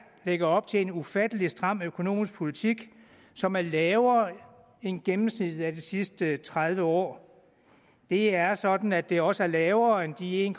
lægger op til en ufattelig stram økonomisk politik som er lavere end gennemsnittet de sidste tredive år det er sådan at det også er lavere end de en